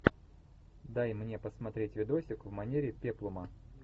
дай мне посмотреть видосик в манере пеплума